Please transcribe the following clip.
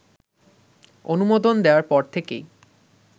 অনুমোদন দেয়ার পর থেকেই